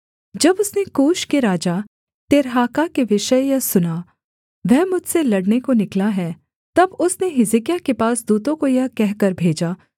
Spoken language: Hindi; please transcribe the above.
जब उसने कूश के राजा तिर्हाका के विषय यह सुना वह मुझसे लड़ने को निकला है तब उसने हिजकिय्याह के पास दूतों को यह कहकर भेजा